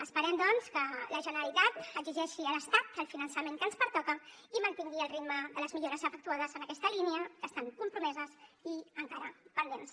esperem doncs que la generalitat exigeixi a l’estat el finançament que ens pertoca i mantingui el ritme de les millores efectuades en aquesta línia que estan compromeses i encara pendents